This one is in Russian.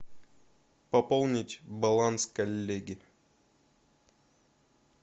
пополнить баланс коллеги